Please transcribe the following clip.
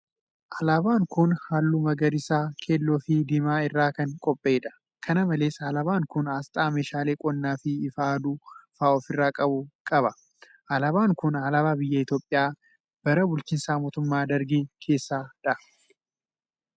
Alaabaan kun, haalluu magariisa, keelloo fi diimaa irraa kan qophaa'e dha. Kana malees alaabaan kun, asxaa meeshaalee qonnaa fi ifa aduu faa of irraa qabu qaba. Alaabaan kun alaabaa biyya Itoophiyaa bara bulchiinsa mootumma Dargii keessaa dha.